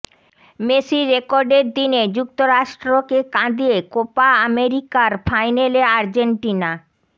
মেসির রেকর্ডের দিনে যুক্তরাষ্ট্রকে কাঁদিয়ে কোপা আমেরিকার ফাইনালে আর্জেন্টিনা